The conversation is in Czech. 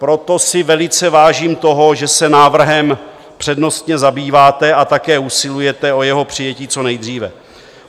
Proto si velice vážím toho, že se návrhem přednostně zabýváte a také usilujete o jeho přijetí co nejdříve.